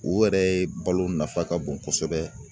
U yɛrɛ balo nafa ka bon kosɛbɛ.